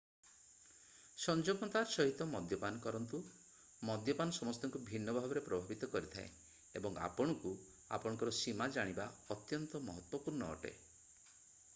ସଂଯମତାର ସହିତ ମଦ୍ୟପାନ କରନ୍ତୁ ମଦ୍ୟପାନ ସମସ୍ତଙ୍କୁ ଭିନ୍ନ ଭାବରେ ପ୍ରଭାବିତ କରିଥାଏ ଏବଂ ଆପଣଙ୍କୁ ଆପଣଙ୍କର ସୀମା ଜାଣିବା ଅତ୍ୟନ୍ତ ମହତ୍ତ୍ଵପୂର୍ଣ୍ଣ ଅଟେ